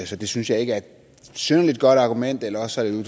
så det synes jeg ikke er et synderlig godt argument eller også er